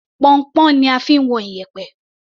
Pọnnpọ́n ni a fi ń wọn iyẹ̀pẹ̀.